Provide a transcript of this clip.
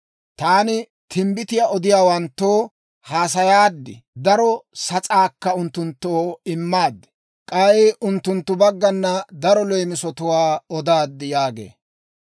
Taani timbbitiyaa odiyaawanttoo haasayaad. Daro sas'aakka unttunttoo immaad; k'ay unttunttu baggana daro leemisatwaa odaad» yaagee.